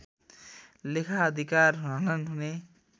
लेखाधिकार हनन् हुने